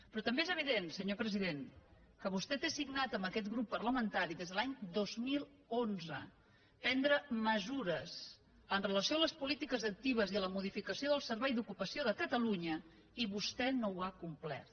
però també és evident senyor president que vostè té signat amb aquest grup parlamentari des de l’any dos mil onze prendre mesures amb relació a les polítiques actives i a la modificació del servei d’ocupació de catalunya i que vostè no ho ha complert